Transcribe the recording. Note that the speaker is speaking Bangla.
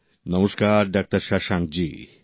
নমস্কার ডাক্তার শশাঙ্ক জি